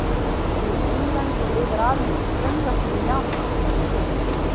Hún er einlend og lifir aðeins í straumvötnum í Japan.